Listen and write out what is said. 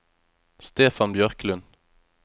Stefan Bjørklund